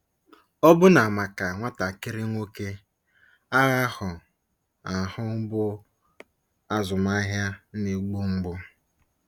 Ọbụna maka nwatakịrị nwoke, agha ahụ ahụ bụ azụmahịa na-egbu mgbu.